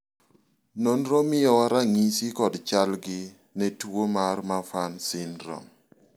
nonro miyowa ranyisi kod chal gi ne tuo mar Marfan syndrome